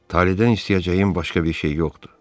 Taledən istəyəcəyim başqa bir şey yoxdur.